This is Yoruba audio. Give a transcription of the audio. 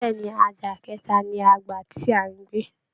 Bẹ́ẹ̀ ni, àjà kẹta ni a gbà tí à ń gbé